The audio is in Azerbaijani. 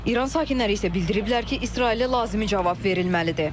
İran sakinləri isə bildiriblər ki, İsrailə lazımi cavab verilməlidir.